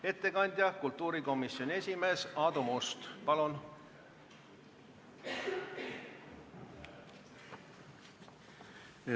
Ettekandja kultuurikomisjoni esimees Aadu Must, palun!